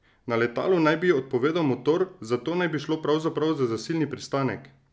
Na letalu naj bi odpovedal motor, zato naj bi šlo pravzaprav za zasilni pristanek!